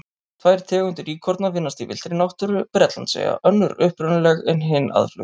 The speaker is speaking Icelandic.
Tvær tegundir íkorna finnast í villtri náttúru Bretlandseyja, önnur upprunaleg en hin aðflutt.